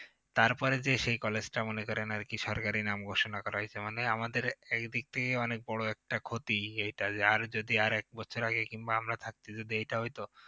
তারপরে যে সেই college টা মনে করেন আরকি সরকারি নাম ঘোষণা করা হয়েছে মানে আমাদের একদিক থেকে অনেক বড় একটা ক্ষতি এইটা আর এক বছর আগে যদি কিংবা আমরা থাকতে যদি এইটা হইত